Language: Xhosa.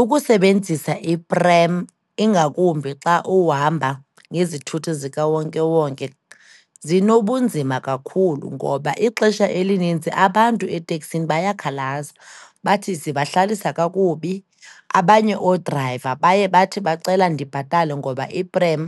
Ukusebenzisa iprem, ingakumbi xa uhamba ngezithuthi zikawonkewonke, zinobunzima kakhulu ngoba ixesha elinintsi abantu eteksini bayakhalaza bathi zibahlalisa kakubi. Abanye oodrayiva baye bathi bacela ndibhatale ngoba iprem